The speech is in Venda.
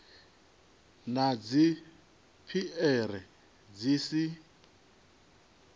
na dzi piere dzi si